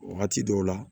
Wagati dɔw la